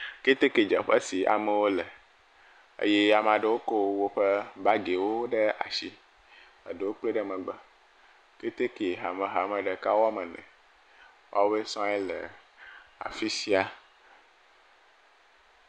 Ketekedzeƒe si amewo le, eye ame aɖewo ko woƒe bagiwo ɖe asi, ɖewo kplae ɖe megbe. Keteke hamehame ɖeka woame ene. Woawo sɔ̃ yele afi sia.